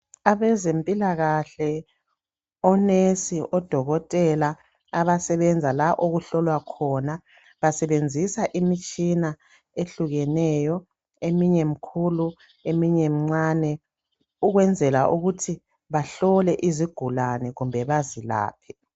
Abazempilakahle onurse odokotela abasebenza la okuhlolwa khona basebenzisa imitshini ehlukeneyo eminye mikhulu eminye mincane ukwenzela ukuthi bahlole izigulani kumbe bazilaphe